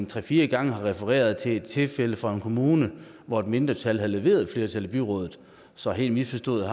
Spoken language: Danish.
tre fire gange har refereret til et tilfælde fra en kommune hvor et mindretal har leveret et flertal i byrådet så helt misforstået